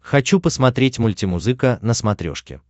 хочу посмотреть мультимузыка на смотрешке